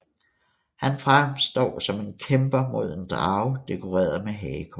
Han fremstår som en kæmper mod en drage dekoreret med hagekors